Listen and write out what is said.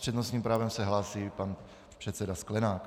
S přednostním právem se hlásí pan předseda Sklenák.